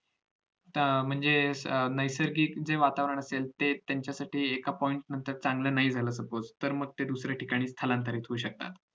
तर म्हणजे नैसर्गिक जे वातावरण असेल ते त्यांचे साठी एका point नंतर चांगलं नाही झालं suppose तर मग ते दुसऱ्या ठिकाणी स्थलांतरित होऊ शकतात